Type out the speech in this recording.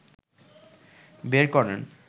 বের করেন